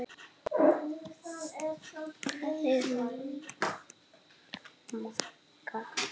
Svona var Magga.